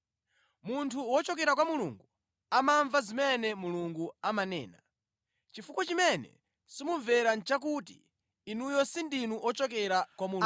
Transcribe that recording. Munthu wochokera kwa Mulungu amamva zimene Mulungu amanena. Chifukwa chimene simumvera nʼchakuti, inuyo sindinu ochokera kwa Mulungu.”